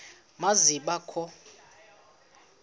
ma zibe kho